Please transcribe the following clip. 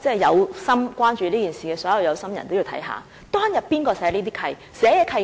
所有關注這件事的有心人也得看看當日是由誰訂定這些契約？